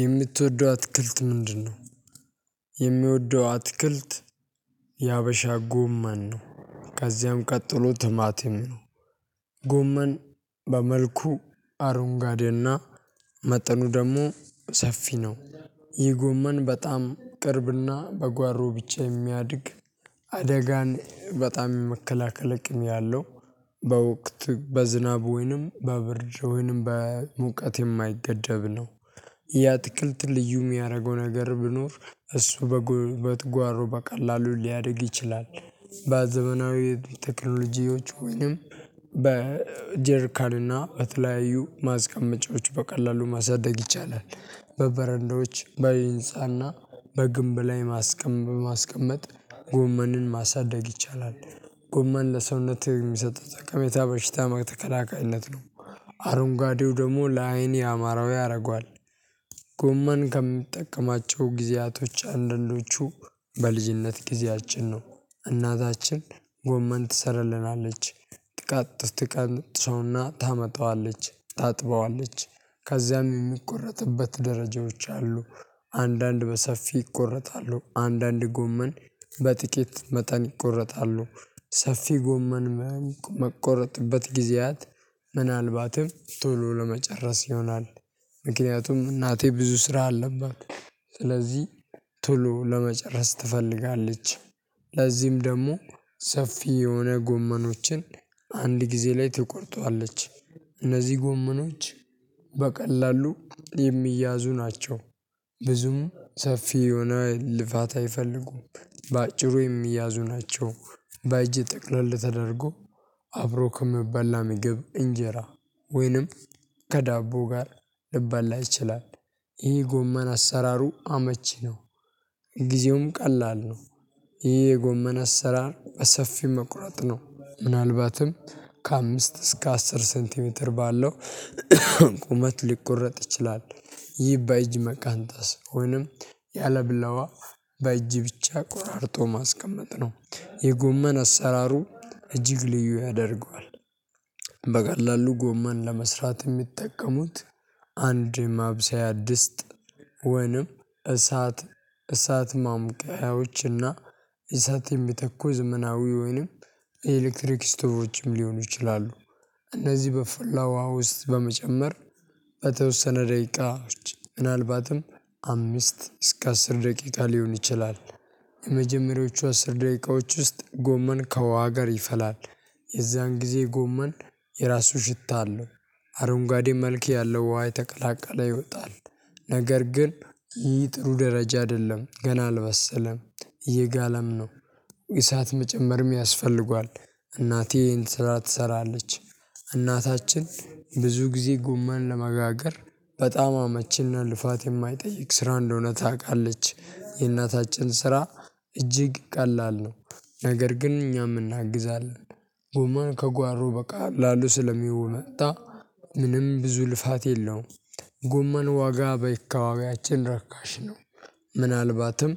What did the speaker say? የምትወደው አትክልት ምንድነው? የሚወደው አትክልት የሀበሻ ጎመን ነው ከዚያም ቀጥሎ ትማቲም ነው። ጎመን በመልኩ አሮንጋዴና መጠኑ ደግሞ ሰፊ ነው። ይህ ጎመን በጣም ቅርብና በጓሮ ብቻ የሚያድግ አደጋን በጣም የመከላከል አቅም ያለው። በወቅት በዝናብ ወይንም በብርድ ወይንም በሙቀት የማይገደብ ነው። ያትክልት ልዩ የሚያደርገው ነገር ቢኖር እሱ በጉልበት ጓሮ በቀላሉ ሊያደርግ ይችላል። በዘመናዊ ቴክኖሎጂዎች ወይንም በጀርካንና በተለያዩ ማስቀመጫዎች በቀላሉ ማሳደግ ይቻላል። በበረንዳዎች በይንጻና በግንብ ላይ ማስቀመጥ ጎመንን ማሳደግ ይቻላል። ጎመን ለሰውነትህ የሚሰጥ ጠቀሜታ በሽታ ተከላካይነት ነው። አረንጓዴው ደግሞ ለአይን ያአማረው ያደርገዋል። ጎመን ከምንጠቀማቸው ጊዜያቶች አንደንዶቹ በልጅነት ጊዜያችን ነው። እናታችን ጎመን ትሰራለናለች ትቃጥፍ ትቀነጥሰውና ታመጣዋለች ታጥበዋለች ከዚያም የሚቆረጥበት ደረጃዎች አሉ። አንዳንድ በሰፊ ይቆረጣሉ አንዳንድ ጎመን በጥቂት መጠን ይቆረጣሉ ሰፊ ጎመን መቆረጥበት ጊዜያት ምናልባትም ቶሎ ለመጨረስ ይሆናል። ምክንያቱም እናቴ ብዙ ስራ አለባት። ስለዚህ ቶሎ ለመጨረስ ትፈልጋለች። ለዚህም ደግሞ ሰፊ የሆነ ጎመኖችን አንድ ጊዜ ላይ ትቆርጠዋለች። እነዚህ ጎመኖች በቀላሉ የሚያዙ ናቸው። ብዙም ሰፊ የሆነ ልፋት አይፈልጉም። በአጭሩ የሚያዙ ናቸው። በእጅ ጥቅለል ተደርጎ አብሮ ከምበላ ምግብ እንጀራ ወይንም ከዳቦ ጋር ልበላ ይችላል። ይሄ ጎመን አሰራሩ አመቺ ነው። ጊዜውም ቀላል ነው። ይሄ የጎመና አሰራር በሰፊው መቁረጥ ነው ምናልባትም ከአምስት እስከ አስር ሴንቲሜትር ባለው ቁመት ሊቆረጥ ይችላል። ይህ በእጅ መቀንጠስ ወይንም ያለብላዋ በእጅ ብቻ ቆራርጦ ማስቀመጥ ነው። የጎመን አሰራሩ እጅግ ልዩ ያደርገዋል። በቀላሉ ጎማን ለመስራት የሚጠቀሙት አንድ ማብሰያ ድስት ወንም እሳት እሳት ማምቀያዎችና እና እሳት የሚተኩ ዘመናዊ ወይንም የኤሌክትሪክ ስቶቮችም ሊሆኑ ይችላሉ። እነዚህ በፈላዋ ውስጥ በመጨመር በተወሰነ ደቂቃ ምናልባትም አምስት እስከ አስር ደቂቃ ሊሆን ይችላል። የመጀመሪያዎቹ አስር ደቂቃዎች ውስጥ ጎመን ከውሃ ጋር ይፈላል። የዛን ጊዜ ጎመን የራሱ ሽታ አለው። አረንጓዴ መልክ ያለው ውሃ የተቀላቀለ ይወጣል። ነገር ግን ይህ ጥሩ ደረጃ አይደለም ገና አልባሰለም። እየጋለም ነው። እሳት መጨመር ያስፈልጓል። እናቴን ስራ ትሰራለች። እናታችን ብዙ ጊዜ ጎመን ለመጋገር በጣም አመቺና ልፋት የማይጠይቅ ስራ እንደሆነ ታውቃለች የእናታችን ስራ እጅግ ቀላል ነው። ነገር ግን እኛም እናግዛለን። ጎመን ከጓሮ በቃ ላሉ ስለሚውሉ መጣ ምንም ብዙ ልፋት የለውም። ጎመን ዋጋ በይካባቢያችን ረካሽ ነው። ምናልባትም